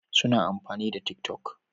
Suna amfani da tik toc